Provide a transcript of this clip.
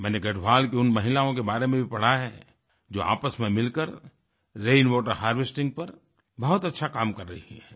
मैंने गढ़वाल की उन महिलाओं के बारे में भी पढ़ा है जो आपस में मिलकर रेनवाटर हार्वेस्टिंग पर बहुत अच्छा काम कर रही हैं